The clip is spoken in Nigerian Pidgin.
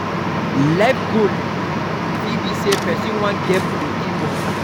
life goal fit be sey person wan get plenty moni